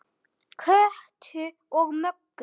Kötu og Möggu.